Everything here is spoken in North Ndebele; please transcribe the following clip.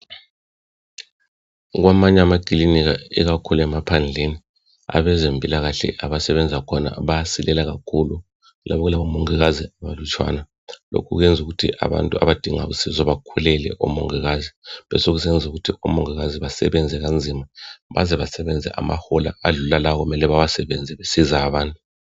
kwamanye amakilinika ikakhulu emaphandleni abezempilakahle abasebenza khona bayasilela kakhulu kuyabe kulabo mongikazi abalutshwana lokhu kuyenza ukuthi abantu abadinga usizo bakhulele omongikazi besekusenza ukuthi omongikazi basebenze kanzima baze basebenze amahola adlula lawo okumele bawasebenze ukusiza abantu